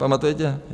Pamatujete?